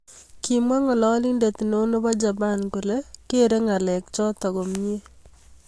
Kamwa ngalalindet neo nepo Japan kole kere ngalek chotok komyee.